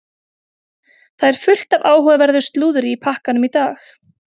Það er fullt af áhugaverðu slúðri í pakkanum í dag.